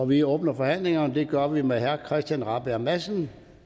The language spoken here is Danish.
vi åbner forhandlingen og det gør vi med herre christian rabjerg madsen